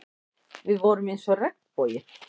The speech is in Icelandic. Við vorum eins og regnboginn.